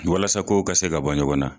Walasa kow ka se ka bɔ ɲɔgɔn na